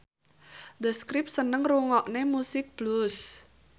The Script seneng ngrungokne musik blues